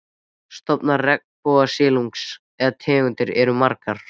Stofnar regnbogasilungsins eða tegundir eru margar.